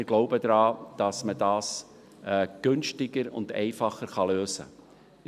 Wir glauben daran, dass man das günstiger und einfacher lösen kann.